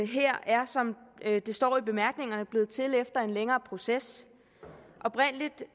her er som det står i bemærkningerne blevet til efter en længere proces oprindelig